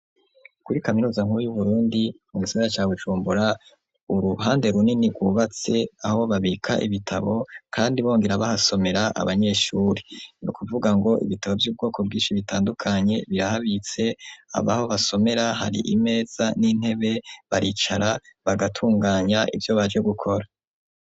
Kuri kaminuza nkuruy'uburundi mu msira cawujumbura uruhande runini rwubatse aho babika ibitabo, kandi bongera bahasomera abanyeshuri ni ukuvuga ngo ibitabo vy'ubwoko bwinshi bitandukanye birahabitse abaho basomera hari imeza n'intebe baricara bagatunganya ivyo banje gukora.